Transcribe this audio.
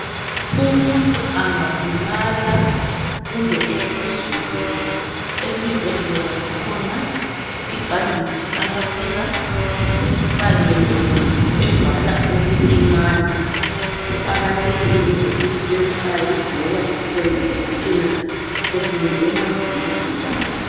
Umuntu angalimala kumbe ehluzuke esibhedlela kukhona ibhanditshi abafika bemfake yona evala ukulimala. Kuqakathekile ukuthi bemfake ngoba isilonda singacina sesingenwa ngamagcikwane